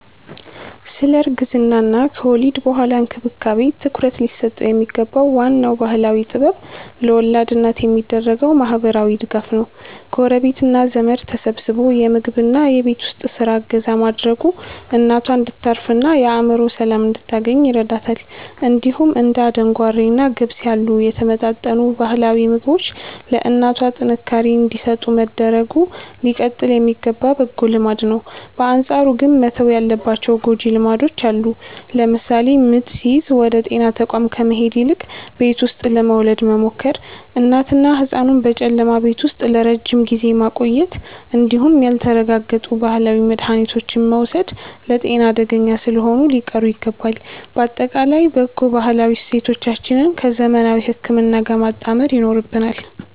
ስለ እርግዝናና ከወሊድ በኋላ እንክብካቤ ትኩረት ሊሰጠው የሚገባው ዋናው ባህላዊ ጥበብ ለወላድ እናት የሚደረገው ማህበራዊ ድጋፍ ነው። ጎረቤትና ዘመድ ተሰባስቦ የምግብና የቤት ውስጥ ስራ እገዛ ማድረጉ እናቷ እንድታርፍና የአእምሮ ሰላም እንድታገኝ ይረዳታል። እንዲሁም እንደ አደንጓሬና ገብስ ያሉ የተመጣጠኑ ባህላዊ ምግቦች ለእናቷ ጥንካሬ እንዲሰጡ መደረጉ ሊቀጥል የሚገባ በጎ ልማድ ነው። በአንጻሩ ግን መተው ያለባቸው ጎጂ ልማዶች አሉ። ለምሳሌ ምጥ ሲይዝ ወደ ጤና ተቋም ከመሄድ ይልቅ ቤት ውስጥ ለመውለድ መሞከር፣ እናትንና ህጻኑን በጨለማ ቤት ውስጥ ለረጅም ጊዜ ማቆየት እንዲሁም ያልተረጋገጡ ባህላዊ መድሃኒቶችን መውሰድ ለጤና አደገኛ ስለሆኑ ሊቀሩ ይገባል። ባጠቃላይ በጎ ባህላዊ እሴቶቻችንን ከዘመናዊ ህክምና ጋር ማጣመር ይኖርብናል።